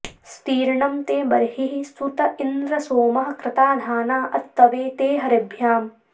स्तीर्णं ते बर्हिः सुत इन्द्र सोमः कृता धाना अत्तवे ते हरिभ्याम्